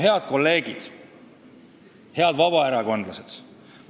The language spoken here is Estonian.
Head kolleegid, head vabaerakondlased!